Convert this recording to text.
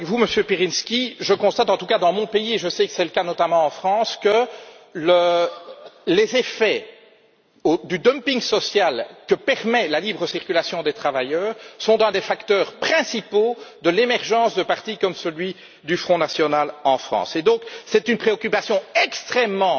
Je suis entièrement d'accord avec vous, Monsieur Pirinski. Je constate, en tout cas dans mon pays, et je sais que c'est le cas notamment en France, que les effets du dumping social que permet la libre circulation des travailleurs sont l'un des facteurs principaux de l'émergence de partis comme celui du Front national en France. C'est donc une préoccupation extrêmement